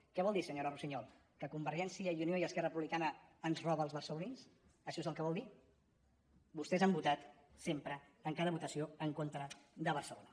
què vol dir senyora russiñol que convergència i unió i esquer·ra republicana ens roben als barcelonins això és el que vol dir vostès han votat sempre en cada votació en contra de barcelona